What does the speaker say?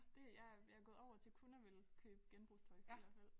Det jeg er jeg gået over til kun at ville købe genbrugstøj i hvert fald